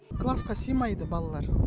классқа сыймайды балалар